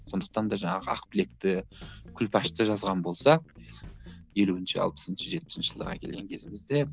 сондықтан да жаңағы ақбілекті күлпашты жазған болса елуінші алпысыншы жетпісінші жылдарға келген кезімізде